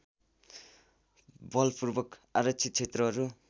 बलपूर्वक आरक्षित क्षेत्रहरू